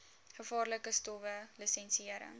gevaarlike stowwe lisensiëring